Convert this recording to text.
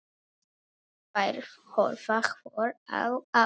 Þær horfa hvor á aðra.